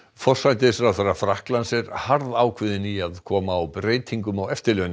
forsætisráðherra Frakklands er harðákveðinn í að koma á breytingum á